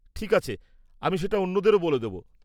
ঠিক আছে, আমি সেটা অন্যদেরও বলে দেব।